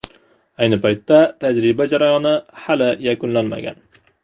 Ayni paytda tajriba jarayoni hali yakunlanmagan.